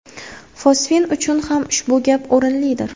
Fosfin uchun ham ushbu gap o‘rinlidir.